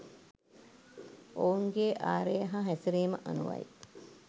ඔවුන්ගේ ආරය හා හැසිරීම අනුවයි.